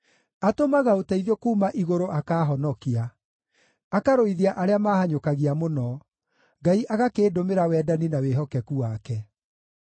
Atũmaga ũteithio kuuma igũrũ akaahonokia, akarũithia arĩa maahanyũkagia mũno; Ngai agakĩndũmĩra wendani na wĩhokeku wake.